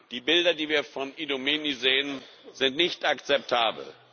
Die Bilder, die wir von Idomeni sehen, sind nicht akzeptabel.